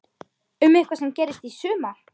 Um eitthvað sem gerðist í sumar?